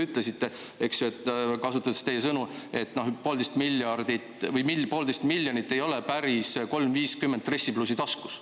Sest nii nagu te ütlesite: poolteist miljonit ei ole päris 3.50 dressipluusi taskus.